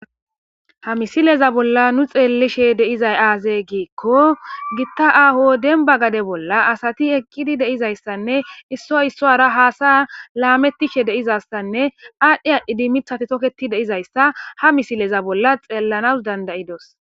Ha misileza bolla nu xeellishe deizay aazee giikko gitta aho denba gade bolla asati eqqidi deizayssanne isso issoara haasa laamettishe deizassanne aadhdhe aadhdhidi mithati toketi deizayssa ha misileza bolla xeellanas dandayidos